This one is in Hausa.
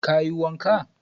Ka yi wanka?